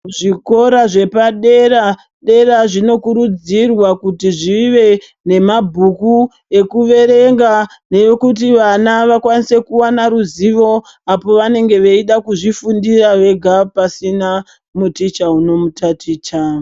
Zvikora zvepadera dera zvinokurudzirwa kuti zvive nemabhuku ekuverenga neekuti vana vawane ruzivo apo vanenge veida kuzvifundira vega pasina muticha unomutaticha.